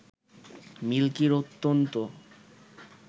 মিল্কির অত্যন্ত